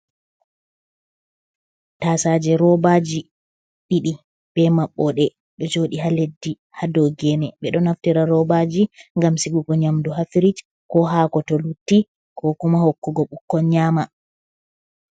Tasaje roobaji ɗiɗi be maɓɓode ɓe ɗo joɗi ha leddi ha dow gene ɓe ɗo naftira robaji ngam sigugo nyamdu ha firij ko hako to lutti kokuma hokkugo bukkon nyama.